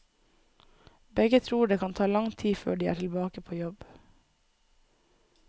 Begge tror det kan ta lang tid før de er tilbake på jobb.